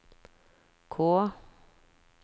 K